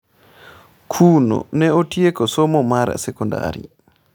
Kuno ne otieko somo mar sekondari.